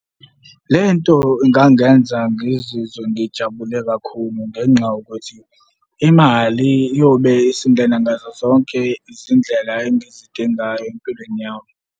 Le nto ingangenza ngizizwe ngijabule kakhulu ngenxa yokuthi imali iyobe isingena ngazo zonke izindlela engizidingayo empilweni yami.